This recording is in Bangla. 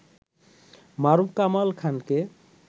মারুফ কামাল খানকে